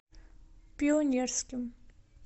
пионерским